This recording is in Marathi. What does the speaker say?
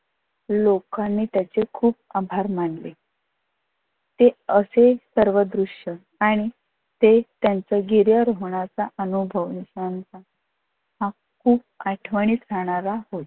लोकांनी त्याचे खूप आभार मानले. ते असे सर्व दृश्य आणि ते त्याचं गिर्यारोहणाचा अनुभव हा खूप आठवणीत राहणारा होता.